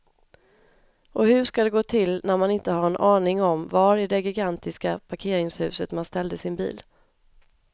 Och hur ska det gå till när man inte har en aning om var i det gigantiska parkeringshuset man ställde sin bil.